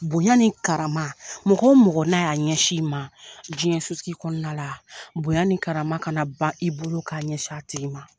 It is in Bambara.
Bonya ni kara mɔgɔ mɔgɔ n'a y'a ɲɛsin ma diɲɛ sosigi kɔnɔna la bonya ni kara kana ban i bolo k'a ɲɛsin a tigi ma.